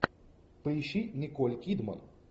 поищи николь кидман